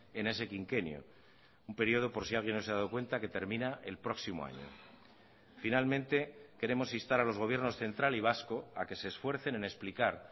en ese quinquenio un periodo por si alguien no se ha dado cuenta que termina el próximo año finalmente queremos instar a los gobiernos central y vasco a que se esfuercen en explicar